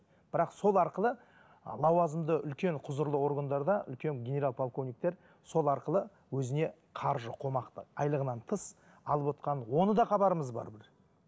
бірақ сол арқылы лауазымды үлкен құзырлы органдарда үлкен генерал полковниктер сол арқылы өзіне қаржы қомақты айлығынан тыс алып отқаны оны да хабарымыз бар бір